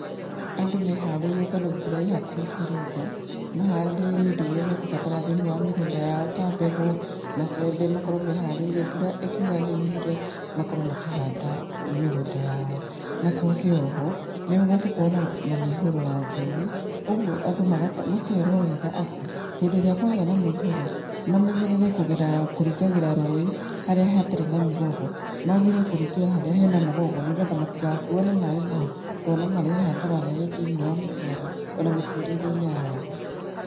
Andũ meharĩrie, tondũ mbura ĩĩ hakuhĩ kũringa, mahande indo irĩa mekũbatara thĩiniĩ wa mĩgũnda yao ta mbegũ, macembe makorwo meharĩiri. Mbura ĩkiuga nĩ yure makorwo makĩhanda mĩgũnda yao. Macoke oho, nĩ gũgũkorwo na na mĩihũro ya njũĩ, ũgũo andũ makerwo wega atĩ, hĩndĩ ĩrĩa kwagĩa na mũihũro, mamenyerera kũgera, kũringagĩra rũĩ, harĩa hatarĩ na mĩgogo. Magĩrĩire kũringĩra harĩa hena mũgogo, nĩgetha matigakuo nĩ maĩ mau, to no marehe hathara nene thĩiniĩ ya matũũra ona mĩtũrĩre-inĩ ya andũ.